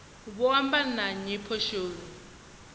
vho amba na nnyi poswoni